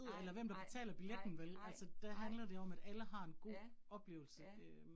Nej nej nej nej nej. Ja, ja